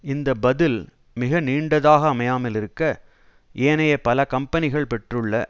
இந்த பதில் மிக நீண்டதாக அமையாமல் இருக்க ஏனைய பல கம்பனிகள் பெற்றுள்ள